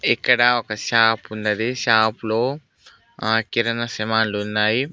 ఇక్కడ ఒక షాప్ ఉన్నది షాప్ లో ఆ కిరణ సమాన్లు ఉన్నాయి.